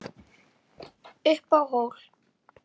Upp á hól